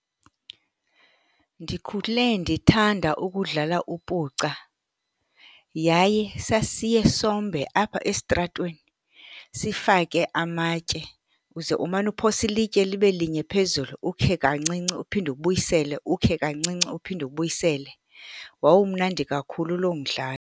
Ndikhule ndithanda ukudlala upuca yaye sasiye sombe apha esitratweni sifake amatye. Uze umane uphosa ilitye libe linye phezulu, ukhe kancinci uphinde ubuyisele, ukhe kancinci uphinde ubuyisele. Wawumnandi kakhulu loo mdlalo.